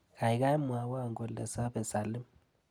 Kaikai mwawa kole sapee Salim.